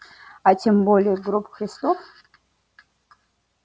а тем более гроб христов